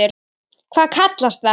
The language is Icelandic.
Hvað kallast það?